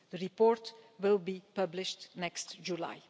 The report will be published next July.